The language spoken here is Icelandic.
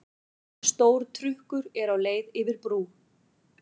Stór trukkur er á leið yfir brú.